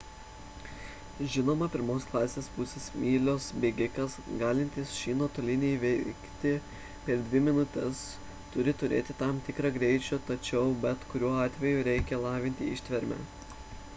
žinoma pirmos klasės pusės mylios bėgikas galintis šį nuotolį įveiktį per dvi minutes turi turėti tam tikro greičio tačiau bet kuriuo atveju reikia lavinti ištvermę